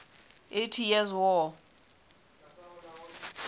eighty years war